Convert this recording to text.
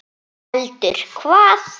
Heldur hvað?